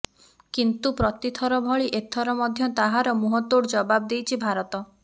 କିନ୍ତୁ ପ୍ରତଥର ଭଳି ଏଥର ମଧ୍ୟ ତାହାର ମୁହଁତୋଡ ଜବାବ୍ ଦେଇଛି ଭାରତ